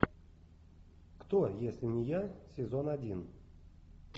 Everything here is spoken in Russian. кто если не я сезон один